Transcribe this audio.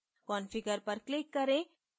configure पर click करें